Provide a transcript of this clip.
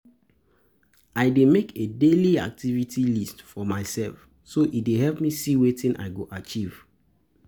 i dey make a daily-activity list for myself, so e dey help me see wetin i go achieve.